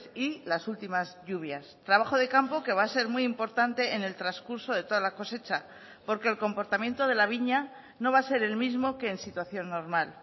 y las últimas lluvias trabajo de campo que va a ser muy importante en el transcurso de toda la cosecha porque el comportamiento de la viña no va a ser el mismo que en situación normal